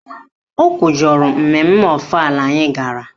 O kwujọrọ mmemme ọfala anyị gara